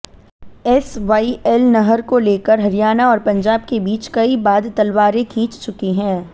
SYL नहर को लेकर हरियाणा और पंजाब के बीच कई बाद तलवारें खिंच चुकी हैं